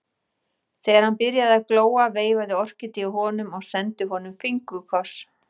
Þegar hann byrjaði að glóa veifaði Orkídea honum og sendi honum fingurkoss.